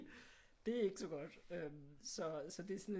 Det er ikke så godt øh så så det er sådan lidt